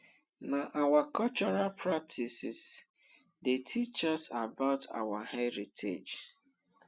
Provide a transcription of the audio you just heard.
na our cultural practices dey teach us about our heritage